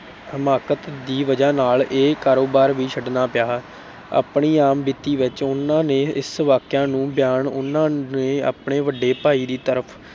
ਹਮਾਕਤ ਦੀ ਵਜ੍ਹਾ ਨਾਲ ਇਹ ਕਾਰੋਬਾਰ ਵੀ ਛੱਡਣਾ ਪਿਆ। ਆਪਣੀ ਆਪ ਬੀਤੀ ਵਿੱਚ, ਉਨ੍ਹਾਂ ਨੇ ਇਸ ਵਾਕਿਆ ਨੂੰ ਬਿਆਨ ਉਨ੍ਹਾਂ ਨੇ ਆਪਣੇ ਵੱਡੇ ਭਾਈ ਦੀ ਤਰਫ਼